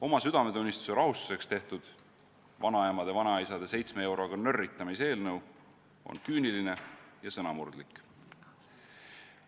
Oma südametunnistuse rahustuseks tehtud vanaemade ja vanaisade 7 euroga nörritamise eelnõu on küüniline ja sõnamurdlik.